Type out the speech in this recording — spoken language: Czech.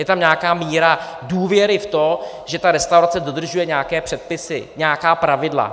Je tam nějaká míra důvěry v to, že ta restaurace dodržuje nějaké předpisy, nějaká pravidla.